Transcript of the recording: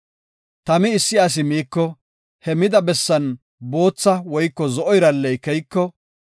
“Tami issi asi miiko he mida bessan bootha woyko zo7o iralley keyiko,